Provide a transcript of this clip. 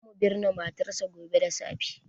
Za mu binne matarsa gobe da safe.